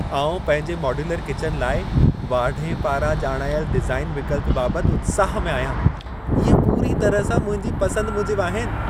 आउं पंहिंजे modular kitchen लाइ, वाढे पारां ॼाणायल डिज़ाइन विकल्प बाबति उत्साह में आहियां। इहे पूरी तरह सां मुंहिंजी पसंद मूजिबि आहिनि।